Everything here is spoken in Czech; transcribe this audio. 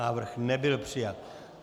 Návrh nebyl přijat.